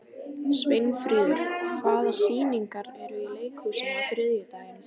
Sveinfríður, hvaða sýningar eru í leikhúsinu á þriðjudaginn?